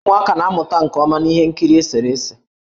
Ụmụaka na-amụta nke ọma na ihe nkiri eserese.